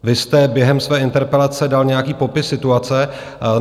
Vy jste během své interpelace dal nějaký popis situace.